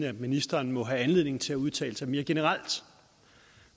at ministeren må have anledning til at udtale sig mere generelt